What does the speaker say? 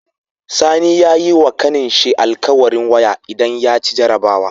Sani yayi wa ƙanin shi al'kawarin waya idan yaci jarabawa